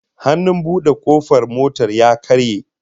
Hannun bude kofar motar ya karye